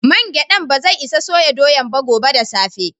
Main giɗan bazai isa soya doyan gobe da safe.